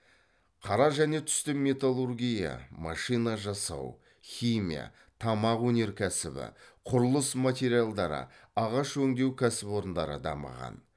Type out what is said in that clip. қара және түсті металлургия машина жасау химия тамақ өнеркәсібі құрылыс материалдары ағаш өңдеу кәсіпорындары дамыған